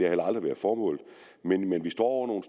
heller aldrig været formålet men vi står